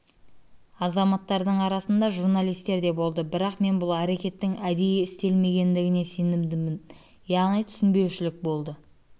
азаматтардың арасында журналистер де болды бірақ мен бұл әрекеттің әдейі істелмегендігіне сенімдімін яғни түсінбеушілік болды